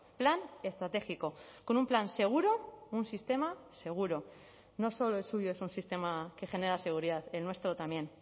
plan estratégico con un plan seguro un sistema seguro no solo el suyo es un sistema que genera seguridad el nuestro también